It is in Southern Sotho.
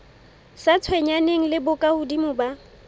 sa tshwenyaneng le bokahodimo ba